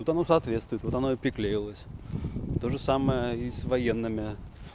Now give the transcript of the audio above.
вот оно соответствует вот оно и приклеилось тоже самое и с военными